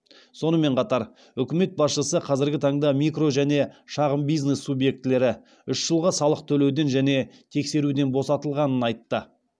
сонымен қатар үкімет басшысы қазіргі таңда микро және шағын бизнес субъектілері үш жылға салық төлеуден және тексеруден босатылғанын айтты